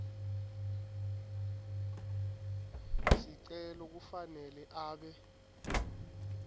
sicelo kufanele abe